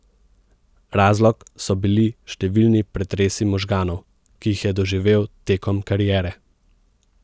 Razlog so bili številni pretresi možganov, ki jih je doživel tekom kariere.